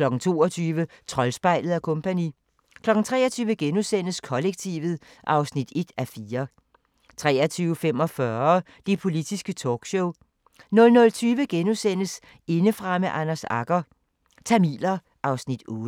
22:00: Troldspejlet & Co. 23:00: Kollektivet (1:4)* 23:45: Det Politiske Talkshow 00:20: Indefra med Anders Agger – Tamiler (Afs. 8)*